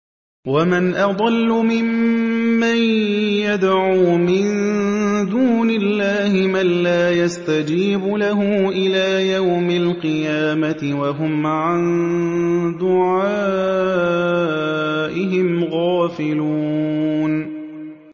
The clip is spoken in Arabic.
وَمَنْ أَضَلُّ مِمَّن يَدْعُو مِن دُونِ اللَّهِ مَن لَّا يَسْتَجِيبُ لَهُ إِلَىٰ يَوْمِ الْقِيَامَةِ وَهُمْ عَن دُعَائِهِمْ غَافِلُونَ